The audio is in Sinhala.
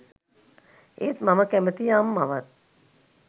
ඒත් මම කැමැතියි අම්මවත්